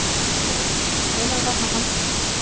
Andri Ólafsson: Hvenær var hann handtekinn?